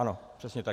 Ano, přesně tak.